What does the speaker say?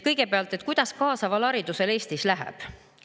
Kõigepealt, kuidas kaasaval haridusel Eestis läheb?